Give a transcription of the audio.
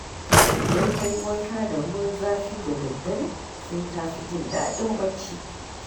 Idan ka yi wanka da ruwan zafi da daddare, sai ka fi jin daɗin bacci